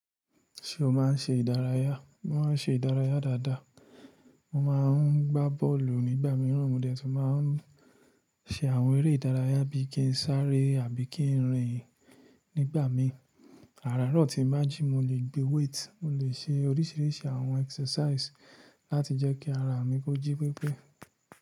Ṣé o máa ń ṣe ìdárayá? Mo máa ń ṣe ìdárayá dáadáa. Mo máa ń gbá bọ́ọ̀lù nígbà mìíràn, mo dẹ́tùn máa ń ṣe àwọn eré ìdárayá bíi kí ń sáré àbí kí ń rìn nígbà mí. Áràárọ̀ tíì bá jí, mo lè gbé weight, mo lè ṣe oríṣìíríṣìí àwọn exercise láti jẹ́ kí ara mi kó jí pípé.